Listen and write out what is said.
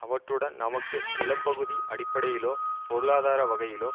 அவற்றுடன் நமக்கு நிலப்பகுதி அடிப்படையிலோ பொருளாதார வகையிலோ